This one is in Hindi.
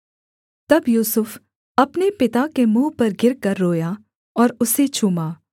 तब यूसुफ अपने पिता के मुँह पर गिरकर रोया और उसे चूमा